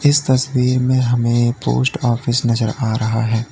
इस तस्वीर में हमें एक पोस्ट ऑफिस नजर आ रहा है।